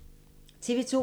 TV 2